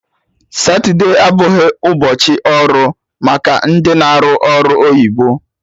Satude abụghị ụbọchị ọrụ maka ndị na-arụ ọrụ oyibo